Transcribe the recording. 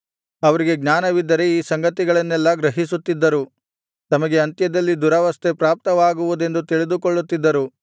ಅವರಿಗೆ ಜ್ಞಾನವಿದ್ದರೆ ಈ ಸಂಗತಿಗಳನ್ನೆಲ್ಲಾ ಗ್ರಹಿಸುತ್ತಿದ್ದರು ತಮಗೆ ಅಂತ್ಯದಲ್ಲಿ ದುರವಸ್ಥೆ ಪ್ರಾಪ್ತವಾಗುವುದೆಂದು ತಿಳಿದುಕೊಳ್ಳುತ್ತಿದ್ದರು